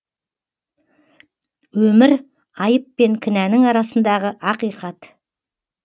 өмір айып пен кінәнің арасындағы ақиқат